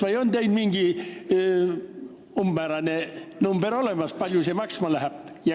Või on teil mingi umbmäärane number olemas, kui palju see kõik maksma läheb?